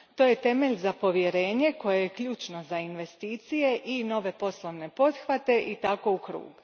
To je temelj za povjerenje koje je ključno za investicije i nove poslovne pothvate i tako u krug.